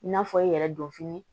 I n'a fɔ i yɛrɛ don fini